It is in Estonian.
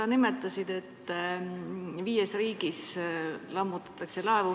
Sa nimetasid, et laevu lammutatakse viies riigis.